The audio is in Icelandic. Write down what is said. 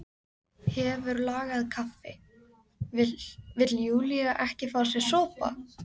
Hefur lagað kaffi, vill Júlía ekki fá sér sopa?